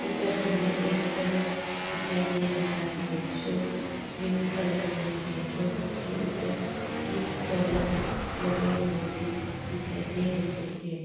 इधर हमें एक घर दिखाई दे रहा है जो ग्रीन कलर में है और उसके ऊपर तीन सोलर लगे हुए भी दिखाई दे रहे हैं।